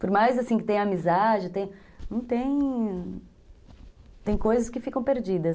Por mais assim que tenha amizade, não tem, tem coisas que ficam perdidas.